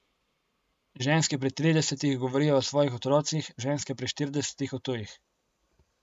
Ženske pri tridesetih govorijo o svojih otrocih, ženske pri štiridesetih o tujih.